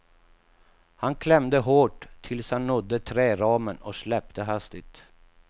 Han klämde hårt tills han nådde träramen och släppte hastigt.